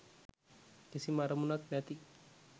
කිසිම අරමුණක් නැති